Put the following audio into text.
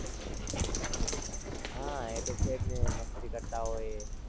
હાં એ તો છે જ ને મસ્તી કરતાં હોઈએ.